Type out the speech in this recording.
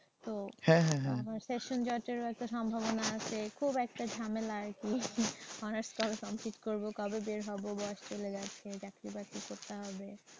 হ্যা হ্যাঁ হ্যাঁ। আমার session জটেরও একটা সম্ভবনা আছে। খুব একটা ঝামেলা আর কি। অনার্সটা complete করব কবে বের হব বয়স চলে যাচ্ছে চাকরি বাকরি করতে হবে।